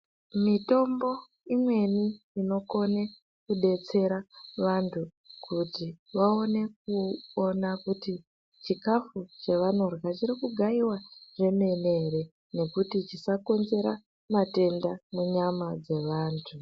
Mitombo imweni inokone kudetsera vantuu kuti vaone kuona kuti chikafu chavanodyaa chiri kugaiwa zvomene here , nekuti chisakonzera matenda munyama dzevantu.